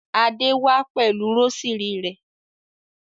Adé wá pẹ̀lú rósírì rẹ̀.